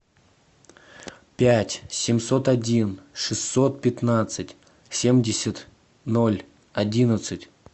пять семьсот один шестьсот пятнадцать семьдесят ноль одиннадцать